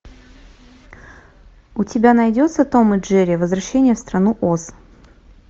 у тебя найдется том и джерри возвращение в страну оз